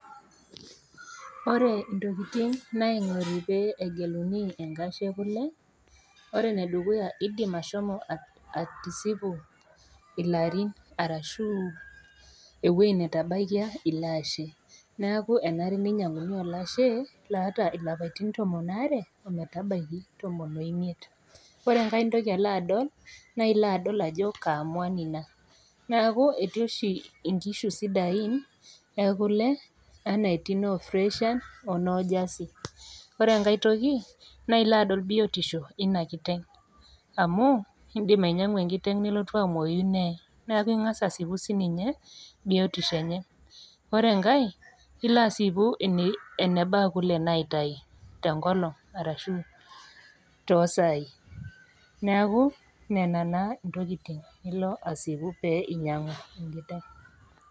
Ore intokitin naingori pee egeluni enkashe e kule, ore ene dukuya indim ashomo atisipu ilarin arashu ewueji natabaikia ilo ashe, neaku enare neinyangu olashe oata ilarin tomon o are o metabaiki tomon o imiet. Ore enkai toki nilo aadol, naa ilo aadol ajo Kaa mwan Ina, neaku, etii oshi inkishu sidain e kule anaa etii noo Friesian onoo jersey, ore enkai toki, ilo aadol biotisho Ina kiteng', amu indim ainyang'u enkiteng' nelotu amwoyu nee, neaku ing'as aasipu sininye biotisho enye. Ore enkai, ilo aasipu enebaa kule naitayu te enkolong' arashu too isaai neaku nena naa intokitin nilo aasipu pee inyang'u.